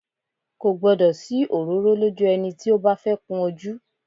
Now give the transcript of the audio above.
Kò gbọ́dọ̀ sí òróró lójú ẹni tí ó bá fẹ́ kun ojú